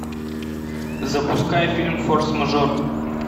запускай фильм форс мажор